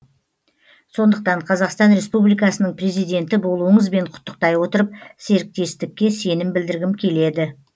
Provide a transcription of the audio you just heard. сондықтан қазақстан республикасының президенті болуыңызбен құттықтай отырып серіктестікке сенім білдіргім келеді